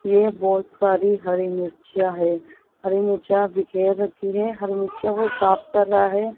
ये बहोत सारी हरी मिर्चियां है हरी मिर्च बिखेर रखी है हरि मिर्चियों को साफ कर रहा है।